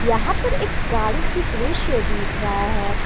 यहां पर एक गाड़ी की दृश्य दिख रहा है।